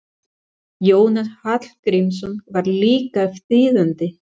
Jónas Hallgrímsson var líka þýðandi.